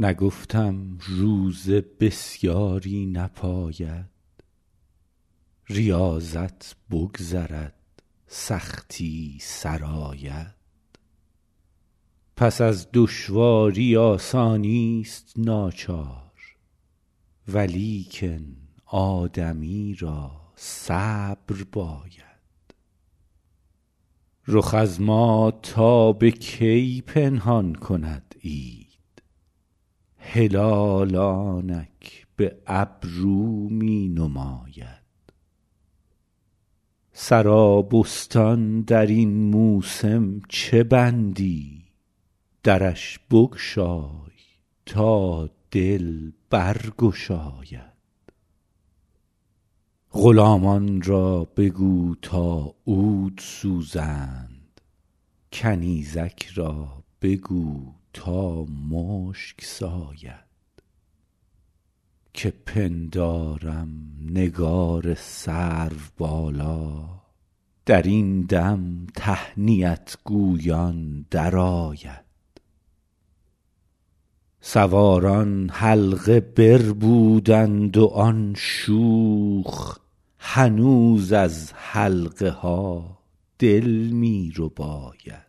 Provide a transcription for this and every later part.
نگفتم روزه بسیاری نپاید ریاضت بگذرد سختی سر آید پس از دشواری آسانیست ناچار ولیکن آدمی را صبر باید رخ از ما تا به کی پنهان کند عید هلال آنک به ابرو می نماید سرابستان در این موسم چه بندی درش بگشای تا دل برگشاید غلامان را بگو تا عود سوزند کنیزک را بگو تا مشک ساید که پندارم نگار سروبالا در این دم تهنیت گویان درآید سواران حلقه بربودند و آن شوخ هنوز از حلقه ها دل می رباید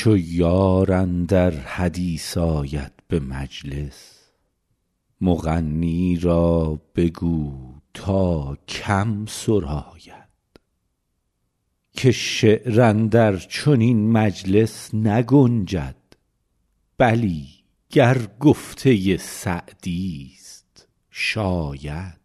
چو یار اندر حدیث آید به مجلس مغنی را بگو تا کم سراید که شعر اندر چنین مجلس نگنجد بلی گر گفته سعدیست شاید